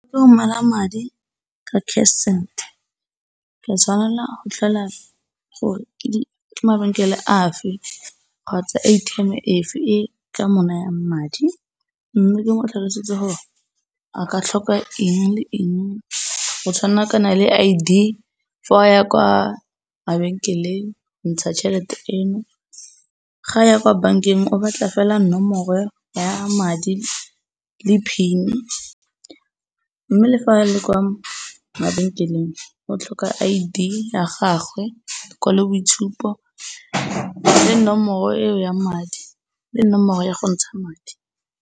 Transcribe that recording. madi ka cash send ke tshwanela go tlhola gore ke mabenkele a fe kgotsa A_T_M efe e e ka mo nayang madi mme ke mo tlhalosetse gore a ka tlhoka eng le eng go tshwana kana le I_D. Fa a ya kwa mabenkeng go ntsha tšhelete eno, ga ya kwa bankeng o batla fela nomoro ya madi tsona le PIN mme le fa a le kwa mabenkeleng go tlhoka I_D ya gagwe, lekwalo boitshupo le nomoro eo ya madi le nomoro ya go ntsha madi.